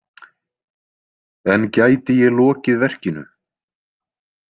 En gæti ég lokið verkinu?